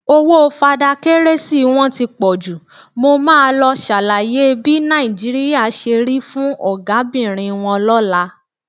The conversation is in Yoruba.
Owó Fada Kérésì wọn ti pọ jù, mo máa lọ ṣàlàyé bí Nàìjíríà ṣe rí fún Ọ̀gábìnrin wọn lọ́la.